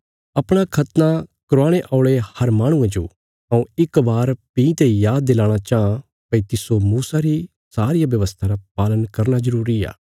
अपणा खतना करवाणे औल़े हर माहणुये जो हऊँ इक बार भीं ते याद दिलाणा चाँह भई तिस्सो मूसा री सारिया व्यवस्था रा पालन करना जरूरी आ